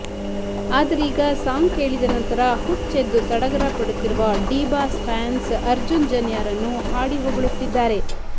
ಆದರೀಗ song ಕೇಳಿದ ನಂತರ ಹುಚ್ಚೆದ್ದು ಸಡಗರ ಪಡುತ್ತಿರುವ ಡಿ ಬಾಸ್ ಫ್ಯಾನ್ಸ್ ಅರ್ಜುನ್ ಜನ್ಯಾರನ್ನು ಹಾಡಿ ಹೊಗಳುತ್ತಿದ್ದಾರೆ